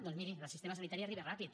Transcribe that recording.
doncs miri el sistema sanitari arriba ràpid